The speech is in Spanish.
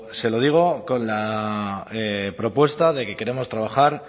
se lo digo con la propuesta de que queremos trabajar